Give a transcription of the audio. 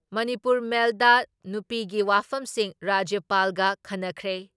ꯃꯅꯤꯄꯨꯔ ꯃꯦꯜꯗ ꯅꯨꯄꯤꯒꯤ ꯋꯥꯐꯝꯁꯤꯡ ꯔꯥꯖ꯭ꯌꯄꯥꯜꯒ ꯈꯟꯅꯈ꯭ꯔꯦ ꯫